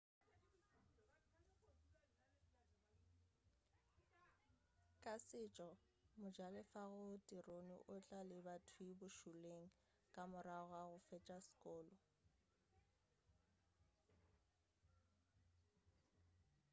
ka setšo mojalefa go tirone o tla lebathwii bošoleng ka morago ga go fetša sekolo